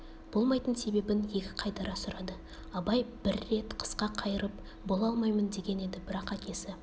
болмайтын себебін екі қайтара сұрады абай бір рет қысқа қайырып бола алмаймын деген еді бірақ әкесі